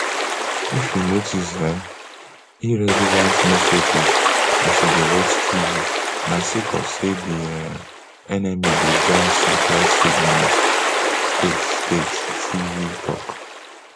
if you notice um irrelevant messages as you dey watch tv na sake of say di um enemy dey jam satellite signals state state tv tok